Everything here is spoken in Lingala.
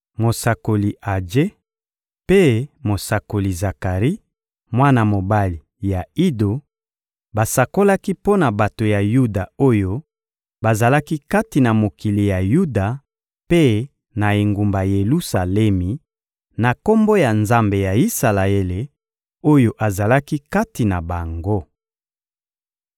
Mosakoli Aje mpe mosakoli Zakari, mwana mobali ya Ido, basakolaki mpo na bato ya Yuda oyo bazalaki kati na mokili ya Yuda mpe na engumba Yelusalemi, na Kombo ya Nzambe ya Isalaele, oyo azalaki kati na bango.